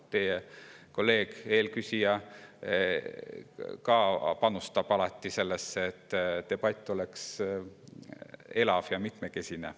Teie kolleeg, eelküsija panustab ka alati sellesse, et debatt oleks elav ja mitmekesine.